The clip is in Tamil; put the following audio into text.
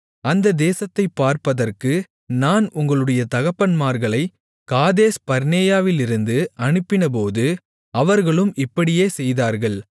அந்த தேசத்தைப் பார்ப்பதற்கு நான் உங்களுடைய தகப்பன்மார்களை காதேஸ்பர்னேயாவிலிருந்து அனுப்பினபோது அவர்களும் இப்படியே செய்தார்கள்